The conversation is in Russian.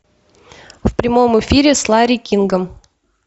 в прямом эфире с ларри кингом